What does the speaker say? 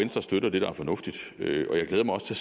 støtter det der er fornuftigt og jeg glæder mig også til